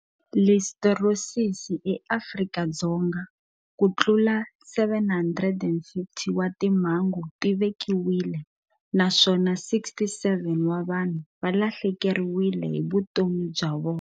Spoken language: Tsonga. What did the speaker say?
Listeriosis eAfrika-Dzonga Ku tlula 750 wa timhangu ti vekiwile naswona 67 wa vanhu va lahlekeriwile hi vutomi bya vona.